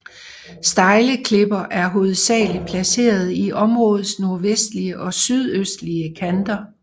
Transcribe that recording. Stejle klipper er hovedsageligt placeret i områdets nordvestlige og sydøstlige kanter